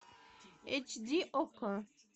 эйч ди окко